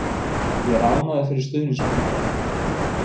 Ég er ánægður fyrir stuðningsmennina.